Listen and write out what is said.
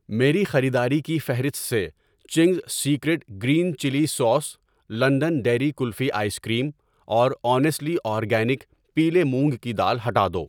میری خریداری کی فہرست سے Ching's secret green chilli sauce, London dairy kulfi ice cream اور اونیسٹلی اورگانک پیلے مونگ کی دال ہٹا دو۔